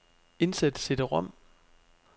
Indsæt cd-rom.